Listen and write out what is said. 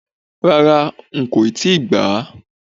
Rárá, ń ko ti gbàá